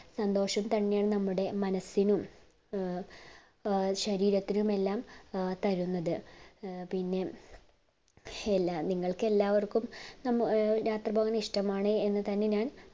സന്തോഷം തന്നെയാണ് നമ്മുടെ മനസ്സിനും ഏർ ശരീരത്തിനും എല്ലാം തരുന്നത് ഏർ പിന്നെ എല്ലാ നിങ്ങൾക്ക് എല്ലാവർക്കും യാത്ര പോവുന്നത് ഇഷ്ടമാണ് എന്നുതന്നെയാണ് ഞാൻ